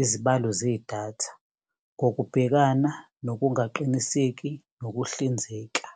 izibalo zedatha, ngokubhekana, nokungaqiniseki, nokuhlinzeka.